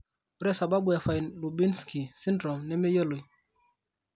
Ore sababu e Fine Lubinsky syndrome nemeyioloi.